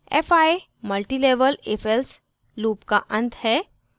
fi multilevel ifelse loop का अंत है